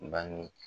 Bange